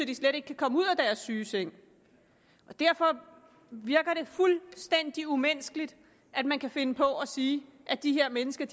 de slet ikke kan komme ud af deres sygeseng og derfor virker det fuldstændig umenneskeligt at man kan finde på at sige at de her mennesker